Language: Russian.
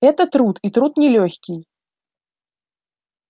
это труд и труд нелёгкий